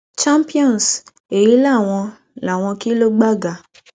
champions èyí làwọn làwọn kílógbága